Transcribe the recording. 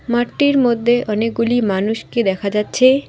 মাঠটির মদ্যে অনেকগুলি মানুষকে দেখা যাচ্ছে।